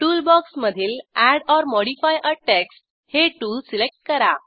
टूलबॉक्समधील add or modify a text हे tool select करा